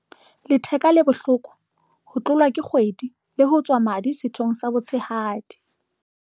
letheka le bohloko, ho tlolwa ke kgwedi, le ho tswa madi sethong sa botshehadi.